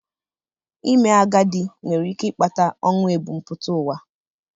Ime agadi nwere ike ịkpata ọnwụ ebumpụta ụwa.